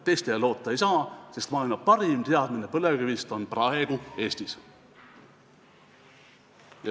Teistele loota ei saa, sest maailma parim teadmine põlevkivist on praegu Eestis.